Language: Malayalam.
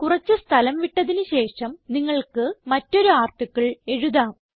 കുറച്ച് സ്ഥലം വിട്ടതിന് ശേഷം നിങ്ങൾക്ക് മറ്റൊരു ആർട്ടിക്കിൾ എഴുതാം